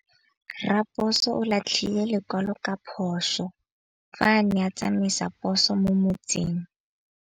Raposo o latlhie lekwalô ka phosô fa a ne a tsamaisa poso mo motseng.